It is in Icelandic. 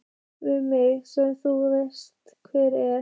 Við mig sem þú veist hver er.